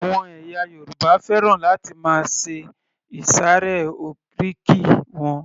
Àwọn ẹ̀yà Yorùbá fẹ́ràn láti máa ṣe ìsàré oríkì wọn